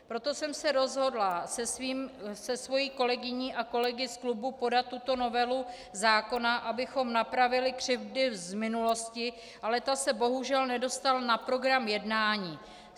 Proto jsem se rozhodla se svou kolegyní a kolegy z klubu podat tuto novelu zákona, abychom napravili křivdy z minulosti, ale ta se bohužel nedostala na program jednání.